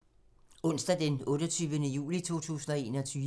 Onsdag d. 28. juli 2021